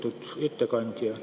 Lugupeetud ettekandja!